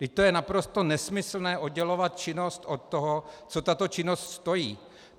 Vždyť to je naprosto nesmyslné - oddělovat činnost od toho, co tato činnost stojí.